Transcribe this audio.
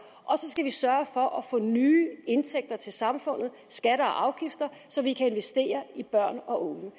og så skal vi sørge for at få nye indtægter til samfundet skatter og afgifter så vi kan investere i børn og unge